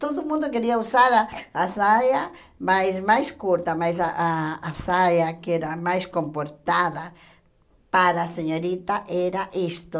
Todo mundo queria usar a a saia mais mais curta, mas ah a saia que era mais comportada para a senhorita era isto.